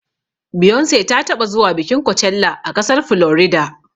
Beyonce ta taɓa zuwa bikin kocella a ƙasar Florida.